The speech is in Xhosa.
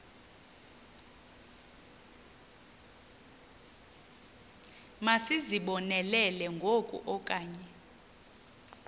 masizibonelele ngoku okanye